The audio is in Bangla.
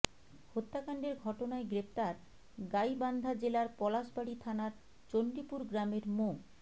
হত্যাকাণ্ডের ঘটনায় গ্রেপ্তার গাইবান্ধা জেলার পলাশবাড়ি থানার চণ্ডীপুর গ্রামের মো